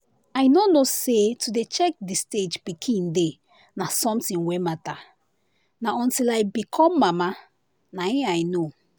i nor know say to dey check the stage pikin dey na something wen matter na until i become mama na i know.